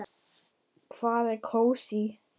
Hvað er kósí?